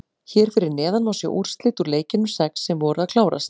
Hér fyrir neðan má sjá úrslit úr leikjunum sex sem voru að klárast.